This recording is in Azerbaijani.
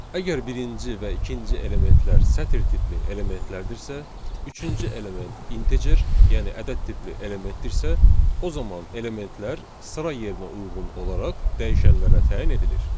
Əgər birinci və ikinci elementlər sətir tipli elementlərdirsə, üçüncü element integer, yəni ədəd tipli elementdirsə, o zaman elementlər sıra yerinə uyğun olaraq dəyişənlərə təyin edilir.